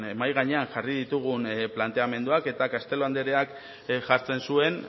mahai gainean jarri ditugun planteamenduak eta castelo andereak jartzen zuen